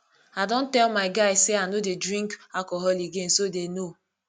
i don tell my guys say i no dey drink alcohol again so dey know